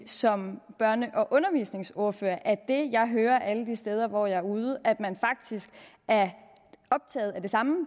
som børne og undervisningsordfører sige at det jeg hører alle de steder hvor jeg er ude at man faktisk er optaget af det samme